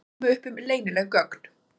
Komu upp um leynileg göng